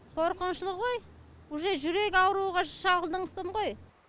қорқынышты ғой уже жүрек ауруға шалдыңғысым ғой